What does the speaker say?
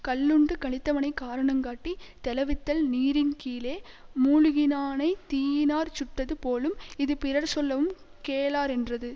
கள்ளுண்டு களித்தவனைக் காரணங் காட்டி தௌவித்தல் நீரின்கீழே முழுகினானைத் தீயினாற் சுட்டது போலும் இது பிறர்சொல்லவும் கேளாரென்றது